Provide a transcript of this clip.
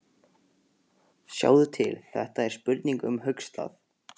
Sjáðu til, þetta er spurning um höggstað.